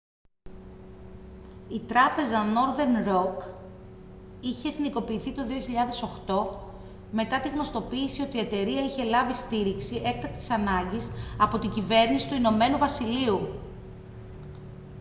η τράπεζα northern rock είχε εθνικοποιηθεί το 2008 μετά την γνωστοποίηση ότι η εταιρεία είχε λάβει στήριξη έκτακτης ανάγκης από την κυβέρνηση του ην βασιλείου